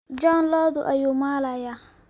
John lodu ayu malayaa.